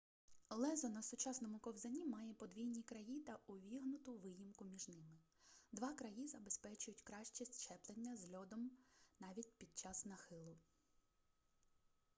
лезо на сучасному ковзані має подвійні краї та увігнуту виїмку між ними два краї забезпечують краще зчеплення з льодом навіть під час нахилу